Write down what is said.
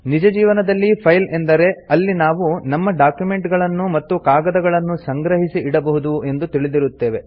ನಿಜ ಜೀವನದಲ್ಲಿ ಫೈಲ್ ಅಂದರೆ ಅಲ್ಲಿ ನಾವು ನಮ್ಮ ಡಾಕ್ಯುಮೆಂಟ್ ಗಳನ್ನು ಮತ್ತು ಕಾಗದಗಳನ್ನು ಸಂಗ್ರಹಿಸಿ ಇಡಬಹುದು ಎಂದು ತಿಳಿದಿರುತ್ತೇವೆ